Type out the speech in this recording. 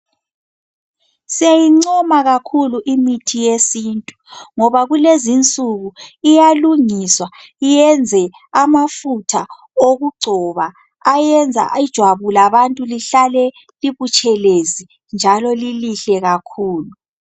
Siyayincoma kakhulu imithi yesintu ngoba kulezinsuku iyalungiswa iyenze amafutha okugcoba ayenza ijwabu labantu lihlale libutshelezi njalo lilihle kakhulu.